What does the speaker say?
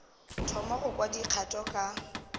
thoma go kwa dikgato ka